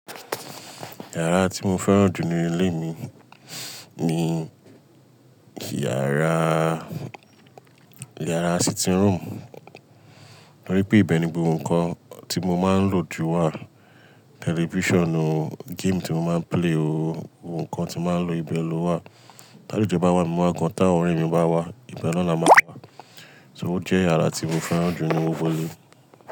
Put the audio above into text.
Yàrá tí mo fẹ́ràn jù ní ilé mi ni yàrá, yàrá sitting room. Nítorí pé ibẹ̀ ni gbogbo nǹkan tí mo máa ń lò jù wà. Television o, game tí mo máa ń play o, ohun kan tí màá ń lo ibẹ̀ lọ wà. Ti alejo bá wà mí wa gan, táwọn ọ̀rẹ́ mi bá wà, ibẹ̀ na la máa wà. So ó jẹ́ iyàrá tí mo fẹ́ràn jù nínú gbogbo ilé.